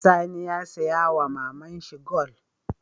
Sani ya siya wama maman shi gwal